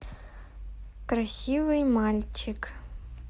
красивый мальчик